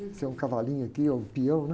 Você é um cavalinho aqui, um peão, né?